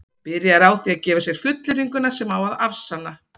byrjað er á því að gefa sér fullyrðinguna sem á að afsanna